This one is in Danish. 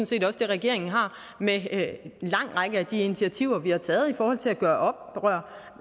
set også det regeringen har med en lang række af de initiativer vi har taget i forhold til at gøre